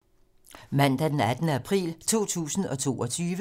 Mandag d. 18. april 2022